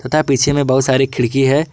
ता है पीछे में बहुत सारी खिड़की है।